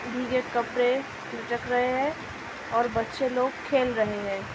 भीगे कपड़े रख रहे हैं और बच्‍चे लोग खेल रहे हैं ।